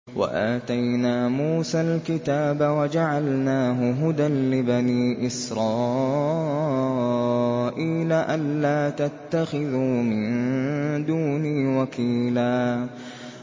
وَآتَيْنَا مُوسَى الْكِتَابَ وَجَعَلْنَاهُ هُدًى لِّبَنِي إِسْرَائِيلَ أَلَّا تَتَّخِذُوا مِن دُونِي وَكِيلًا